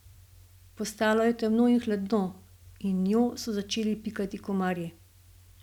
Postalo je temno in hladno in njo so začeli pikati komarji.